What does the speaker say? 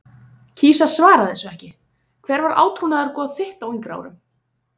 kýs að svara þessu ekki Hver var átrúnaðargoð þitt á yngri árum?